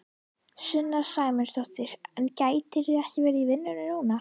Sunna Sæmundsdóttir: En gætirðu eitthvað verið í vinnu núna?